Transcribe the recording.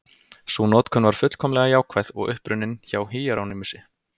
Sú notkun var fullkomlega jákvæð og upprunnin hjá Híerónýmusi.